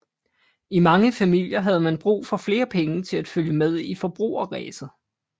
I mange familier havde man brug for flere penge til at følge med i forbrugerræset